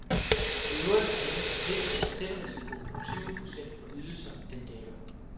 I øvrigt har denne forsikring en selvrisiko på tyve procent for ydelser, den dækker.